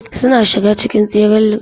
Suna shiga cikin tseren relay.